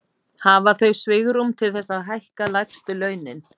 Hafa þau svigrúm til þess að hækka lægstu launin?